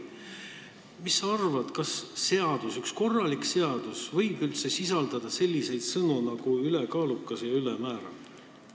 Mis sa arvad, kas üks korralik seadus võib üldse sisaldada selliseid sõnu nagu "ülekaalukas" ja "ülemäära"?